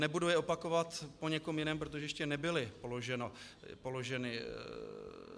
Nebudu je opakovat po někom jiném, protože ještě nebyly položeny.